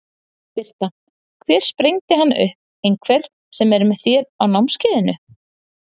Birta: Hver sprengdi hann upp, einhver sem er með þér á námskeiðinu?